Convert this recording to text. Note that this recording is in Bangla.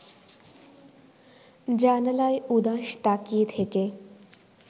জানালায় উদাস তাকিয়ে থেকে